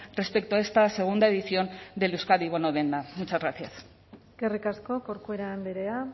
respecto a esta segunda edición del euskadi bono denda muchas gracias eskerrik asko corcuera andrea